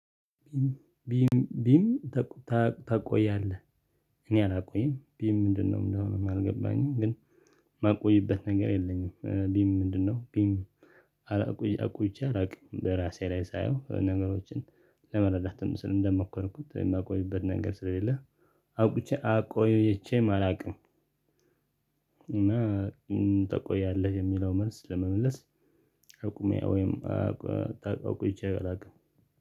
ቢም ቢም ታታ ታቆያለህ እኔ አላቆይም ቢም ምንድነው እንደሆነ አልገባኝም ግን ማቆይበት ነገር የለኝም ቢም ምንድነው ቢም አላቆይ አቆይቼ አላቅም በራሴ ላይ ሳየው ነገሮችን ለመረዳትም ስል እንደመኮርኩት የማቆይበት ነገር ስለሌለ አቆቼ አቆይቼም አላውቅም። እና ታቆያለህ የሚለው መልስ ለመመለስ አቁሜ ወይም አ አቆይቼ አላውቅም።